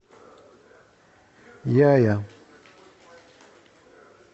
яя